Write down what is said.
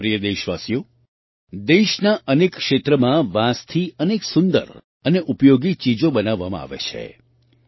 મારા પ્રિય દેશવાસીઓ દેશના અનેક ક્ષેત્રમાં વાંસથી અનેક સુંદર અને ઉપયોગી ચીજો બનાવવામાં આવે છે